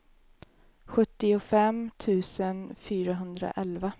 sjuttiofem tusen fyrahundraelva